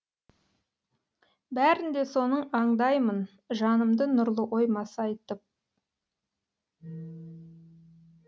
бәрін де соның аңдаймын жанымды нұрлы ой масайтып